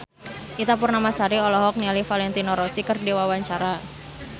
Ita Purnamasari olohok ningali Valentino Rossi keur diwawancara